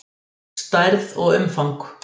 Stærð og umfang